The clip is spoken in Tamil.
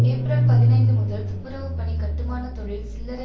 ஏப்ரல் பதினைந்து முதல் துப்புரவு பணி கட்டுமானத்தொழில் சில்லறை